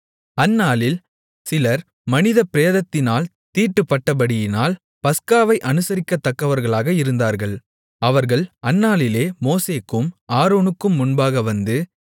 அந்நாளில் சிலர் மனித பிரேதத்தினால் தீட்டுப்பட்டபடியினால் பஸ்காவை அனுசரிக்கத்தகாதவர்களாக இருந்தார்கள் அவர்கள் அந்நாளிலே மோசேக்கும் ஆரோனுக்கும் முன்பாக வந்து